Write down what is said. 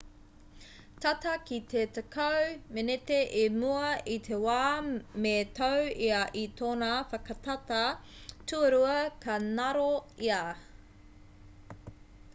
tata ki te tekau meneti i mua i te wā me tau ia i tōna whakatata tuarua ka ngaro ia